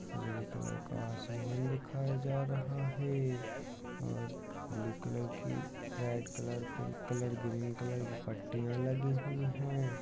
उजले कलर का आसमान दिखाया जा रहा है और ब्लु कलर की red colour pink colour green colour की पट्टियाँ लगी हुई है।